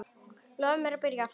Lofaðu mér að byrja aftur!